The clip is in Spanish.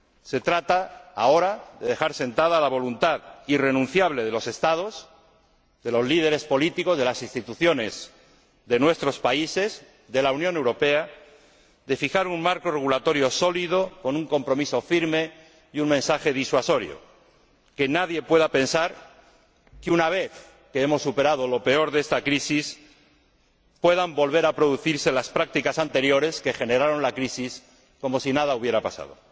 Se trata ahora de dejar sentada la voluntad irrenunciable de los Estados, de los líderes políticos, de las Instituciones, de nuestros países, de la Unión Europea, de fijar un marco regulatorio sólido con un compromiso firme y un mensaje disuasorio Que nadie pueda pensar que una vez que hemos superado lo peor de esta crisis puedan volver a producirse las prácticas anteriores que generaron la crisis, como si nada hubiera pasado.